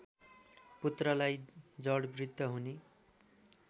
पुत्रलाई जडबुद्ध हुने